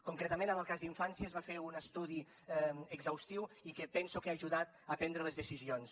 concretament en el cas d’infància es va fer un estudi exhaustiu i que penso que ha ajudat a prendre les decisions